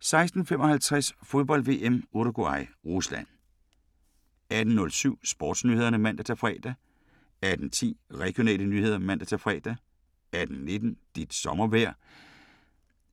16:55: Fodbold: VM - Uruguay-Rusland 18:07: SportsNyhederne (man-fre) 18:10: Regionale nyheder (man-fre) 18:19: Dit sommervejr